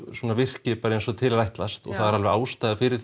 virki eins og til er ætlast og það er ástæða fyrir